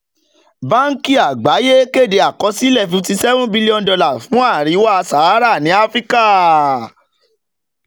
báńkì àgbáyé kéde àkọsílẹ̀ fifty seven billion dollars fún àríwá sahara ní áfíríkà